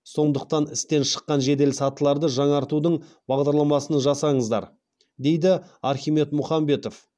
сондықтан істен шыққан жеделсатыларды жаңартудың бағдарламасын жасаңыздар дейді архимед мұхамбетов